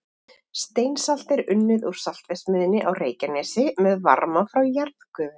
Steinsalt er nú unnið í saltverksmiðjunni á Reykjanesi með varma frá jarðgufu.